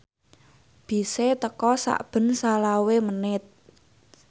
bise teka sakben selawe menit